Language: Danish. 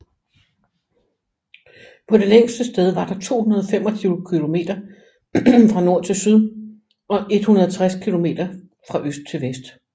På det længste sted var der 225 kilometer fra nord til syd og 160 kilometer fra øst til vest